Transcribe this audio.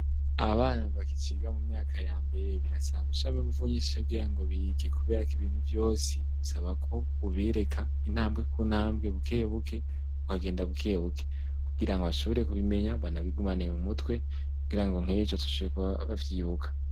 Abana bakiciga mu myaka yambere birasaba gushiramwo inguvu nyinshi kugirango bige kuberako ibintu vyose bisaba ko ubereka intambwe kuntambwe bukebuke ukagenda bukebuke, kugirango bashobore kubimenya banabigumane mu mutwe kugirango nkejo bazoshobora kuba bavyibuka.